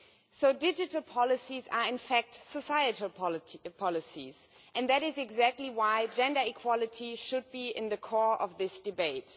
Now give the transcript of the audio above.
So digital policies are in fact societal policies, and that is exactly why gender equality should be at the core of this debate.